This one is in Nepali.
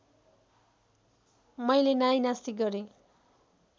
मैले नाइनास्ती गरेँ